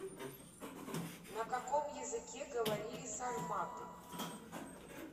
на каком языке говорили сарматы